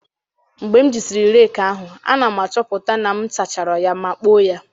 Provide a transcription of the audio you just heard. Mgbe m jisịrị rake ahụ, a na m achọpụta na m sachara ya ma kpoo ya.